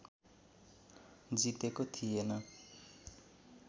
जितेको थिएन